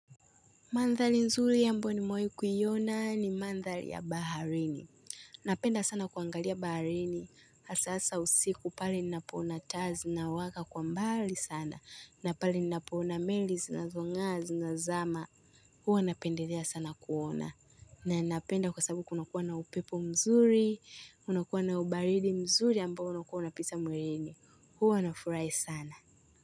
Mandhari nzuri ambayo nimewahi kuiona ni mandhari ya baharini. Napenda sana kuangalia baharini. Hasa saa ya usiku, pale ninapoona taa zinawaka kwa mbali sana. Na pale ninapoona meli zinazong'aa zikizama. Huwa napendelea sana kuona. Na ninapenda kwa sababu kunakuwa na upepo mzuri. Kunakuwa na ubaridi mzuri ambao unakuwa unapita mwilini. Huwa nafurahi sana.